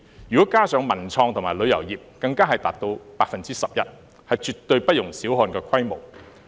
如果加上文創及旅遊業，更達到 11%， 是絕對不容小看的規模。